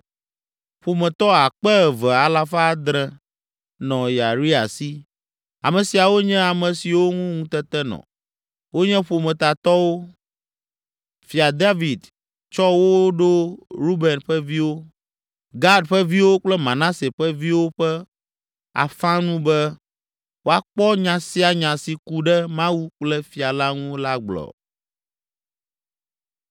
Ƒometɔ akpe eve alafa adre (2,700) nɔ Yeria si. Ame siawo nye ame siwo ŋu ŋutete nɔ, wonye ƒometatɔwo. Fia David tsɔ wo ɖo Ruben ƒe viwo, Gad ƒe viwo kple Manase ƒe viwo ƒe afã nu be woakpɔ nya sia nya si ku ɖe Mawu kple fia la ŋu la gbɔ.